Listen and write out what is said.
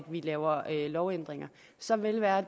vi laver lovændringer så lad det være